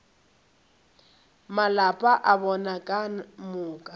malapa a bona ka moka